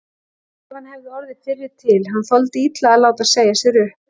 Bara ef hann hefði orðið fyrri til, hann þoldi illa að láta segja sér upp.